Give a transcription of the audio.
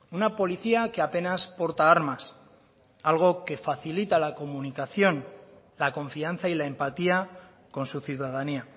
una policía que apenas porta armas algo que facilita la comunicación la confianza y la empatía con su ciudadanía